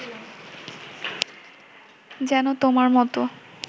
যেন তোমার মতো